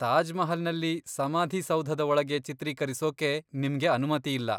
ತಾಜ್ ಮಹಲ್ನಲ್ಲಿ ಸಮಾಧಿ ಸೌಧದ ಒಳಗೆ ಚಿತ್ರೀಕರಿಸೋಕೆ ನಿಮ್ಗೆ ಅನುಮತಿ ಇಲ್ಲ.